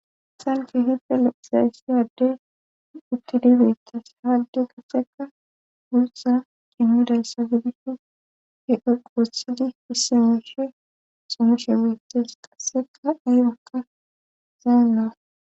Haysppe hipde leqhizayssiyaddey utti dibeettas haalde gaseka guussa qinnidayssa gidikko he equwothidi fissemoshe xumishe betes qasseka aybakka zayamawa